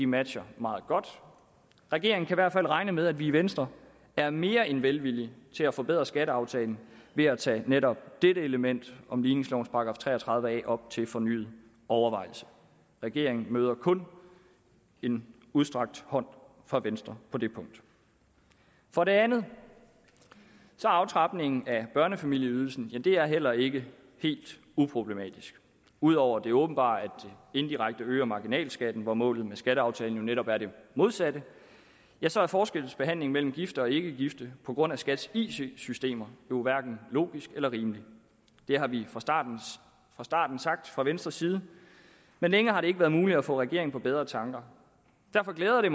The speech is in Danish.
matcher meget godt regeringen kan i hvert fald regne med at vi i venstre er mere end velvillige til at forbedre skatteaftalen ved at tage netop dette element om ligningslovens § tre og tredive a op til fornyet overvejelse regeringen møder kun en udstrakt hånd fra venstre på det punkt for det andet er aftrapningen af børnefamilieydelsen heller ikke helt uproblematisk udover det åbenbare at det indirekte øger marginalskatten hvor målet med skatteaftalen jo netop er det modsatte ja så er forskelsbehandlingen mellem gifte og ikkegifte på grund af skats it systemer hverken logisk eller rimelig det har vi fra starten fra starten sagt fra venstres side men det har længe ikke været muligt at få regeringen på bedre tanker derfor glæder det